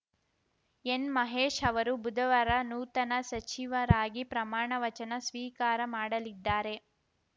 ಎನ್‌ಮಹೇಶ್‌ ಅವರು ಬುಧವಾರ ನೂತನ ಸಚಿವರಾಗಿ ಪ್ರಮಾಣ ವಚನ ಸ್ವೀಕಾರ ಮಾಡಲಿದ್ದಾರೆ